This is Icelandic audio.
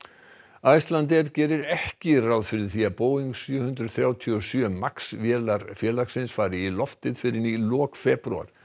Icelandair gerir ekki ráð fyrir því að Boeing sjö hundruð þrjátíu og sjö VO Max vélarnar fari í loftið fyrr en í lok febrúar